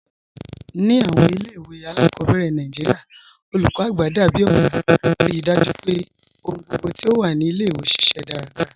Ni awọn ilẹ̀-iwe aláàkọ́bẹ̀rẹ̀ Nàìjíríà, olúkọ́ àgbà dábìí ọ̀gá, ríì dájú pé ọ̀hùn gbogbo ti o wà ni ilẹ̀-iwe ṣiṣẹ daradara.